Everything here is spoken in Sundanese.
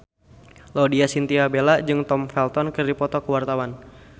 Laudya Chintya Bella jeung Tom Felton keur dipoto ku wartawan